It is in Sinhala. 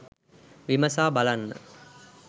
විමසා බලන්න.